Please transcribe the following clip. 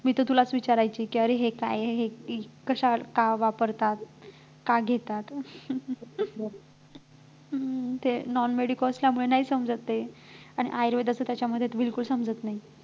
मी तर तुलाच विचारायची कि अरे हे काय आहे हे कशावर का वापरतात का घेतात हम्म non medico असल्यामुळे नाही समजत ते आणि ayurved च त्याच्यामध्ये तर बिलकुल समजत नाही